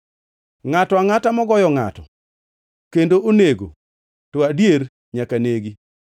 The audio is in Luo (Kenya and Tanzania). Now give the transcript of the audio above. “Ngʼato angʼata mogoyo ngʼato kendo onego to adier nyaka negi.